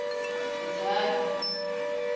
itsani